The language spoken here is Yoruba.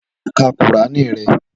Lọ ka kùránì rẹ!